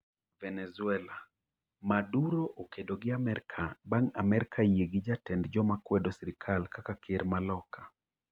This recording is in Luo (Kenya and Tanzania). Venezuela: Maduro okedo gi Amerka bang' Amerka yie gi jatend joma kwedo sirkal kaka ker ma loka